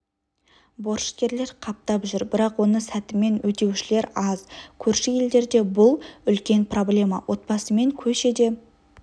борышкерлер қаптап жүр бірақ оны сәтімен өтеушілер аз көрші елдерде бұл үлкен проблема отбасымен көшеде